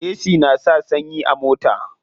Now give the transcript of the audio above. Ac na sa sanyi a mota.